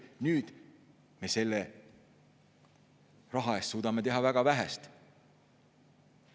Nüüd me suudame selle raha eest teha väga vähe.